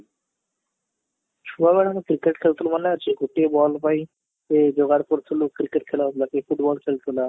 ଛୁଆ ବେଳେ ଆମେ cricket ଖେଳୁଥିଲୁ ମନେ ଅଛି ଗୋଟିଏ ball ପାଇଁ ସେ ଯୋଗାଡ଼ କରୁଥିଲୁ cricket ଖେଳ ବା କିଏ football ଖେଳୁଥିଲା